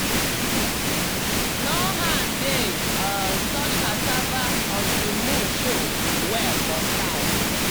no hand dey um touch cassava until moon show well for sky.